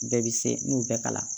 Bɛɛ bi se n'u bɛɛ kalan